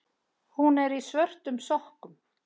Hún er í svörtum sokkum.